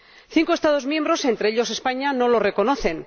Cinco Estados miembros —entre ellos, España— no lo reconocen.